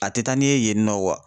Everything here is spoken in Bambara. A te taa ni ye yen nɔ kuwa